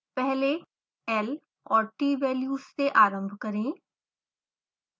पहले l और t values से आरंभ करें